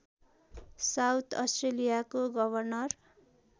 south अस्ट्रेलियाको governor